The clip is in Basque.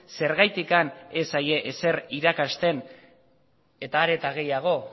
zergatik ez zaie ezer irakasten eta are eta gehiago